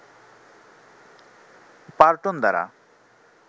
পার্টন দ্বারা